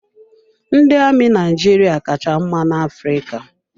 Ndị amị Naijiria ka cha mma na-Afrịka.